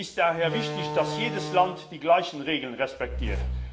Es ist daher wichtig, dass jedes Land die gleichen Regeln respektiert.